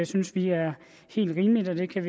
synes vi er helt rimeligt og vi kan